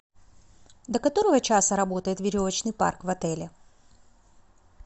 до которого часа работает веревочный парк в отеле